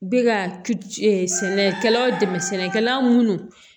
Bɛ ka sɛnɛkɛlaw dɛmɛ sɛnɛkɛla minnu